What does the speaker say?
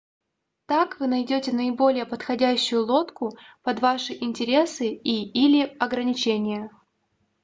так вы найдете наиболее подходящую лодку под ваши интересы и/или ограничения